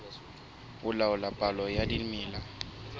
ho laola palo ya dimela